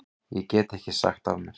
Ég get ekki sagt af mér.